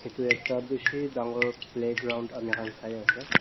etu ekta bishi dangor playground ami khan sai ase.